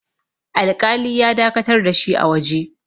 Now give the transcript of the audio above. alƙali ya dakatar da shi a waje